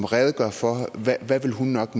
redegøre for hvad hun nok